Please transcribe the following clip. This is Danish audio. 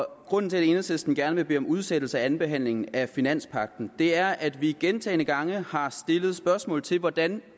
grunden til at enhedslisten gerne vil bede om udsættelse af andenbehandlingen af finanspagten er at vi gentagne gange har stillet spørgsmål til hvordan